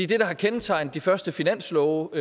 det der har kendetegnet de første finanslove